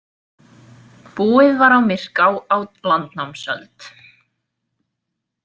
Búið var á Myrká á landnámsöld.